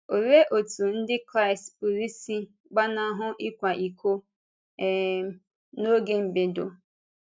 Olee otú Ndị Kraịst pụrụ isi ‘gbàna hụ ị̀kwa íkò’ um n’oge mbèdo?